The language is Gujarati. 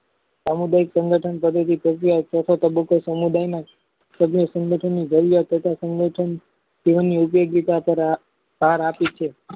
સામુદાયિક સંગઠન સમુદાયમાં સભ્ય સંગઠન ની vely તથા સંગઠન જીવનની ઓદ્યોગીતા ભાર આપે છે